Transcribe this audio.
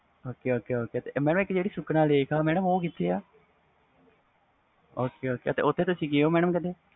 ok ok ਜਿਹੜੀ ਇਕ sukhna lake madam ਉਹ ਕਿਥੇ ਆ ok ok ਓਥੇ ਗੇ ਉਹ ਤੁਸੀ ਕਦੇ